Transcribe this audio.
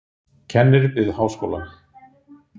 Kennir við háskólann.